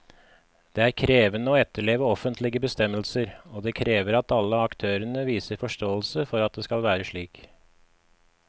Det er krevende å etterleve offentlige bestemmelser, og det krever at alle aktørene viser forståelse for at det skal være slik.